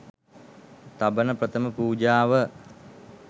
තබන ප්‍රථම පූජාව